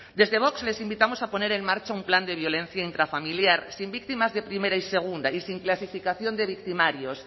desde vox les invitamos a poner en marcha un plan de violencia intrafamiliar sin víctimas de primera y segunda y sin clasificación de victimarios